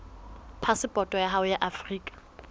phasepoto ya hao ya afrika